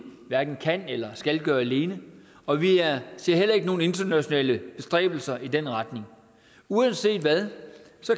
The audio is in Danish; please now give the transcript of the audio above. hverken kan eller skal gøre alene og vi ser heller ikke nogen internationale bestræbelser i den retning uanset hvad